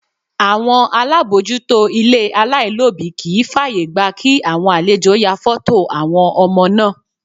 Àwọn alábòójútó ilé alailobi kì í fàyègba kí àwọn àlejò ya foto àwọn ọmọ náà.